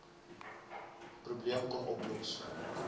probleem kon oplos